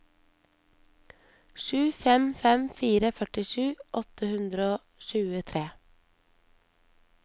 sju fem fem fire førtisju åtte hundre og tjuetre